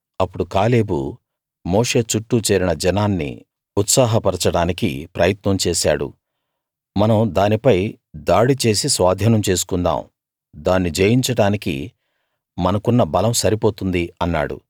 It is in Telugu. అప్పుడు కాలేబు మోషే చుట్టూ చేరిన జనాన్ని ఉత్సాహపరచడానికి ప్రయత్నం చేశాడు మనం దానిపై దాడి చేసి స్వాధీనం చేసుకుందాం దాన్ని జయించడానికి మనకున్న బలం సరిపోతుంది అన్నాడు